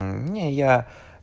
не я